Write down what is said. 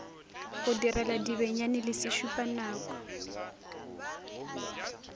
go direla dibenyane le sešupanako